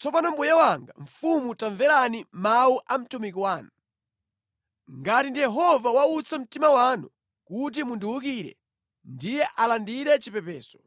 Tsopano mbuye wanga mfumu tamverani mawu a mtumiki wanu. Ngati ndi Yehova wautsa mtima wanu kuti mundiwukire, ndiye alandire chipepeso.